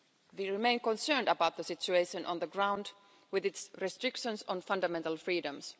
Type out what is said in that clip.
We remain concerned about the situation on the ground with its restrictions on fundamental freedoms.